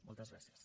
moltes gràcies